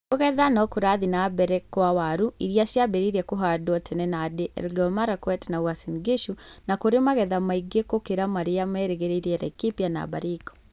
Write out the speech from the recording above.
Kũgetha nĩ kũrathiĩ na mbere kwa waru iria ciambĩrĩirie kũhandwo tene Nandi, Elgeyo Marakwet na Uasin Gishu na kũrĩ na magetha maingĩ gũkĩra marĩa merĩgĩrĩire Laikipia na Baringo.